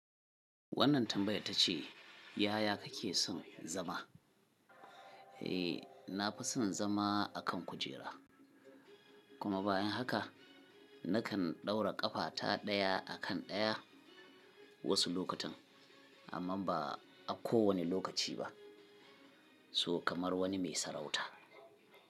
Wannan tambayar ta ce, yaya kake son zama? Eh, na fi son zama a kan kujera, kuma bayan haka na kan ɗaura ƙafata ɗaya a kan ɗaya wasu lokutan amma ba a kowane lokaci ba. So kamar wani mai sarauta.